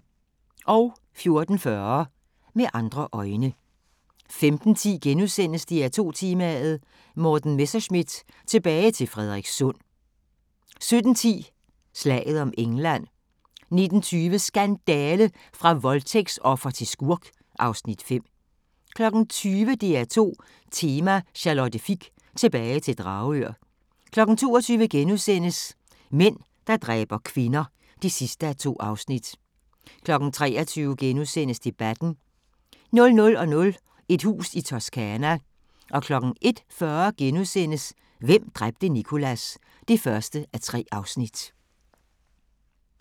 14:40: Med andre øjne 15:10: DR2 Tema: Morten Messerschmidt – tilbage til Frederikssund * 17:10: Slaget om England 19:20: Skandale! – fra voldtægtsoffer til skurk (Afs. 5) 20:00: DR2 Tema: Charlotte Fich – tilbage til Dragør 22:00: Mænd, der dræber kvinder (2:2)* 23:00: Debatten * 00:00: Et hus i Toscana 01:40: Hvem dræbte Nicholas? (1:3)*